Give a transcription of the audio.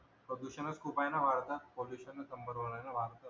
प्रदूषणच खूप आहेना वाढत पोल्यूएशन शंबर वेळा वाढत